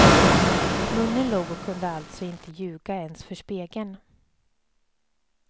Munnen log och kunde alltså inte ljuga ens för spegeln.